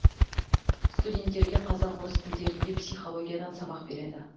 студенттерге қазақ орыс тілдерінде психологиядан сабақ береді